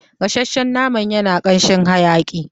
Gasashshen naman yana kanshin hayaƙi